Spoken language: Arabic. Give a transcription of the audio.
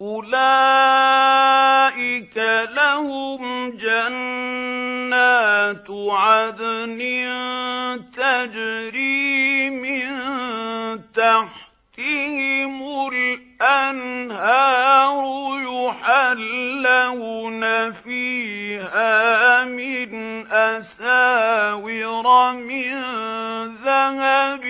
أُولَٰئِكَ لَهُمْ جَنَّاتُ عَدْنٍ تَجْرِي مِن تَحْتِهِمُ الْأَنْهَارُ يُحَلَّوْنَ فِيهَا مِنْ أَسَاوِرَ مِن ذَهَبٍ